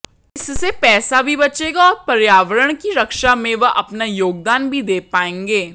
इससे पैसा भी बचेगा और पर्यावरण की रक्षा में वे अपना योगदान भी दे पायेंगे